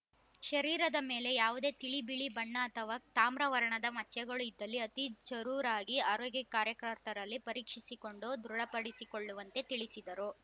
ಶರೀರದ ಮೇಲೆ ಯಾವುದೇ ತಿಳಿ ಬಿಳಿ ಬಣ್ಣ ಅಥವ ತಾಮ್ರ ವರ್ಣದ ಮಚ್ಚೆಗಳು ಇದ್ದಲ್ಲಿ ಅತಿ ಜರೂರಾಗಿ ಆರೋಗ್ಯ ಕಾರ್ಯಕರ್ತರಲ್ಲಿ ಪರೀಕ್ಷಿಸಿಕೊಂಡು ದೃಢಪಡಿಸಿಕೊಳ್ಳುವಂತೆ ತಿಳಿಸಿದರು